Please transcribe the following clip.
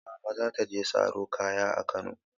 Mama za ta je saro kaya a Kano.